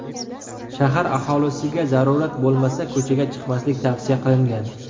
Shahar aholisiga zarurat bo‘lmasa, ko‘chaga chiqmaslik tavsiya qilingan.